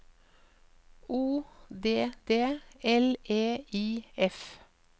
O D D L E I F